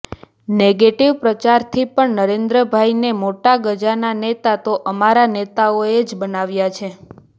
negative પ્રચારથી પણ નરેન્દ્રભાઈ ને મોટા ગજાના નેતા તો અમારા નેતાઓ એ જ બનાવ્યા છે